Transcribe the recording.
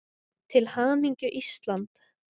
Til hamingju Ísland.